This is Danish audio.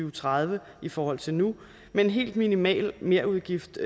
og tredive i forhold til nu med en helt minimal merudgift